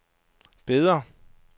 Beder